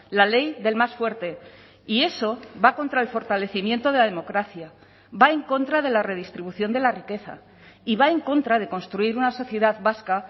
la ley del más fuerte y eso va contra el fortalecimiento de la democracia va en contra de la redistribución de la riqueza y va en contra de construir una sociedad vasca